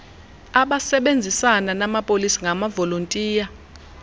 abasebenzisana namapolisa ngamavolontiya